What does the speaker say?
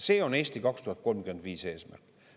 See on "Eesti 2035" eesmärk.